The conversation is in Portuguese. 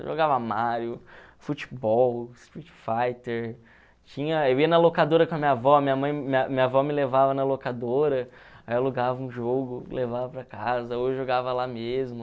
Eu jogava Mario, futebol, Street Fighter, tinha eu ia na locadora com a minha avó, minha mãe minha avó me levava na locadora, aí eu alugava um jogo, levava para casa, ou jogava lá mesmo.